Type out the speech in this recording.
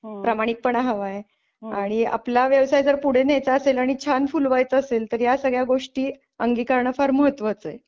प्रामाणिकपणा हवा आहे आणि आपला व्यवसाय जर पुढे न्यायचा असेल आणि छान फुलवायचा असेल तर या सगळ्या गोष्टी अंगीकारण फार महत्वाचे आहे.